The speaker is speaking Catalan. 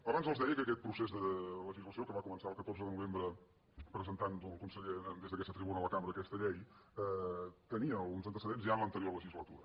abans els deia que aquest procés de legislació que va començar el catorze de novembre presentant el conseller des d’aquesta tribuna a la cambra aquesta llei tenia uns an·tecedents ja en l’anterior legislatura